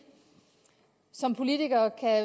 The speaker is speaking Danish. som politikere kan